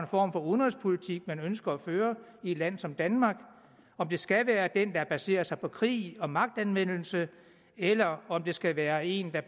form for udenrigspolitik man ønsker at føre i et land som danmark om det skal være den der baserer sig på krig og magtanvendelse eller om det skal være en der